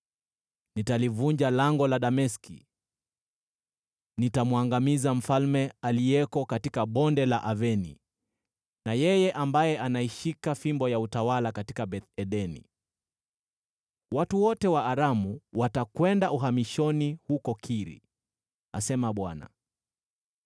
Nitalivunja lango la Dameski; nitamwangamiza mfalme aliyeko katika Bonde la Aveni, na yeye ambaye anaishika fimbo ya utawala katika Beth-Edeni. Watu wote wa Aramu watakwenda uhamishoni huko Kiri,” asema Bwana .